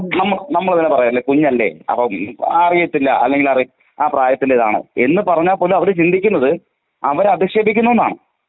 നമ്മ നമ്മൾ ഇങ്ങനെ പറയലെ കുഞ്ഞല്ലേ? അപ്പം അറിയത്തില്ല അല്ലെങ്കി അറി ആ പ്രായത്തിന്റെത് ആണ് എന്ന് പറഞ്ഞ പോലും അവര് ചിന്തിക്കുന്നത് അവരെ അധിക്ഷേപിക്കുന്നുന്നാണ്.